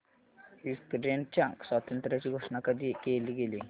युक्रेनच्या स्वातंत्र्याची घोषणा कधी केली गेली